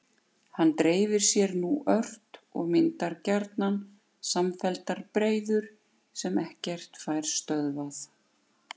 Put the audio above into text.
Hann dreifir sér nú ört og myndar gjarnan samfelldar breiður sem ekkert fær stöðvað.